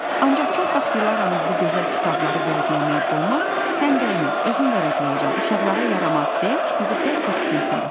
Ancaq çox vaxt Dilaranın bu gözəl kitabları vərəqləməyə qoymaz, sən dəymə, özün vərəqləyəcəm, uşaqlara yaramaz, deyə kitabı bərk-bərk sinəsinə basardı.